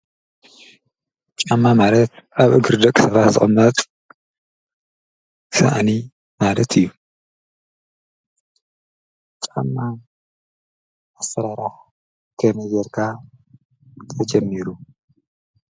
ጫማ ማለት አብ እግሪ ደቂ ሰባት ዝቅመጥ ሳእኒ ማለት እዩ። ጫማ አሰራራሓ ከመይ ገይርካ ተጀሚሩ?